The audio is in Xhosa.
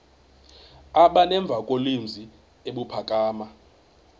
aba nemvakalozwi ebuphakama